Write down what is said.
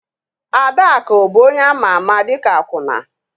Adaakụ bụ onye ama ama dịka akwụna